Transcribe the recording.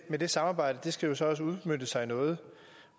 men det samarbejde skal så også udmønte sig i noget